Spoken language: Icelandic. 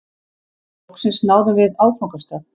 Loksins náðum við áfangastað.